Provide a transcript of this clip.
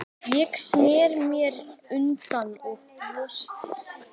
Ég sneri mér undan og brosti.